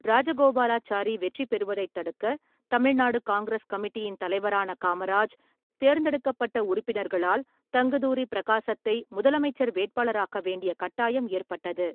ராஜகோபாலாச்சாரி வெற்றி பெறுவதைத் தடுக்க, தமிழ்நாடு காங்கிரஸ் கமிட்டியின் தலைவரான காமராஜ், தேர்ந்தெடுக்கப்பட்ட உறுப்பினர்களால், தங்குதுரி பிரகாசத்தை முதலமைச்சர் வேட்பாளராக்க வேண்டிய கட்டாயம் ஏற்பட்டது.